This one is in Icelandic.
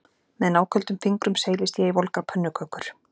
Með náköldum fingrum seilist ég í volgar pönnukökur